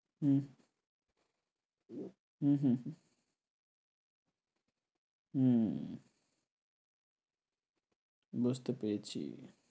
হুম হুম হুম হুম হুম বুঝতে পেরেছি।